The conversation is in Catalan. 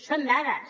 són dades